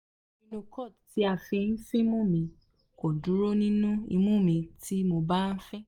rhinocort ti a fi n finmu mi ko duro ninu imu mi tii mo ba fin